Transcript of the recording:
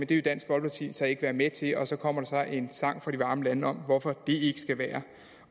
det vil dansk folkeparti så ikke være med til og så kommer der en sang fra de varme lande om hvorfor det ikke skal være